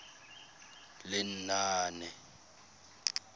lenaane